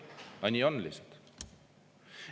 Aga nii on lihtsalt.